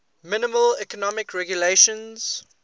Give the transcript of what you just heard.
minimal economic regulations